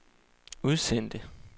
udsendte